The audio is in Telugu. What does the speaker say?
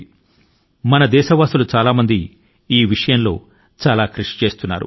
చాలా మంది భారతీయులు ఈ దిశ గా అసాధారణ ప్రయత్నాల ను చేస్తున్నారు